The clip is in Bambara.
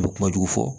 A bɛ kuma jugu fɔ